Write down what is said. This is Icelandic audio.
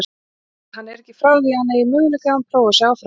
Hann er ekki frá því að hann eigi möguleika ef hann prófar sig áfram.